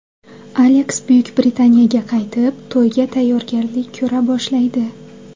Aleks Buyuk Britaniyaga qaytib, to‘yga tayyorgarlik ko‘ra boshlaydi.